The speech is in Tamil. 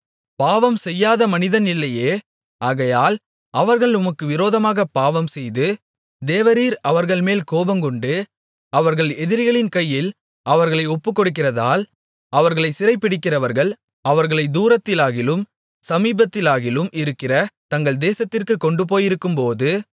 பாவம் செய்யாத மனிதன் இல்லையே ஆகையால் அவர்கள் உமக்கு விரோதமாகப் பாவம்செய்து தேவரீர் அவர்கள்மேல் கோபங்கொண்டு அவர்கள் எதிரிகளின் கையில் அவர்களை ஒப்புக்கொடுக்கிறதால் அவர்களைச் சிறைபிடிக்கிறவர்கள் அவர்களைத் தூரத்திலாகிலும் சமீபத்திலாகிலும் இருக்கிற தங்கள் தேசத்திற்குக் கொண்டுபோயிருக்கும்போது